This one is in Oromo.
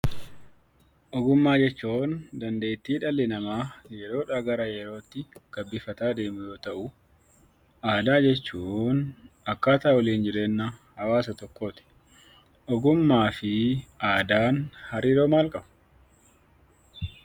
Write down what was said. Ogummaa jechuun; dandeetti dhalli nama yeroodha garaa yerootti gabbifataa deemu yoo ta'u, aadaa jechuun; akkataa walin jireenya hawaasa tokkotti. Ogummaafi aadaan hariroo maal qabu?